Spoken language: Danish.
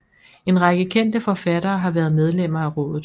En række kendte forfattere har været medlemmer af rådet